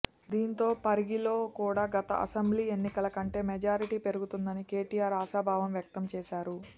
దీంతో పాటు పరిగిలో కూడా గత అసెంబ్లీ ఎన్నికల కంటే మెజారిటీ పెరుతుందని కేటీఆర్ ఆశాభావం వ్యక్తం చేశారు